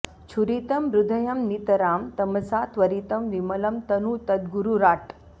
छुरितं हृदयं नितरां तमसा त्वरितं विमलं तनु तद्गुरुराट्